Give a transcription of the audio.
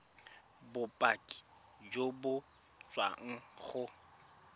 bopaki jo bo tswang go